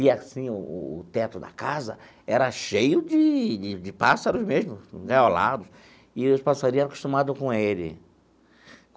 E, assim, o o teto da casa era cheio de de de pássaros mesmo, engaiolados, e os passarinho era acostumados com ele.